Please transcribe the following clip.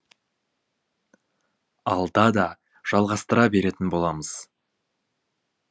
алда да жалғастыра беретін боламыз